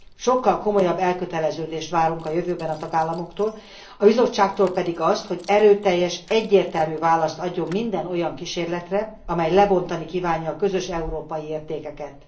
Sokkal komolyabb elköteleződést várunk a jövőben a tagállamoktól, a Bizottságtól pedig azt, hogy erőteljes, egyértelmű választ adjon minden olyan kísérletre, amely lebontani kívánja a közös európai értékeket.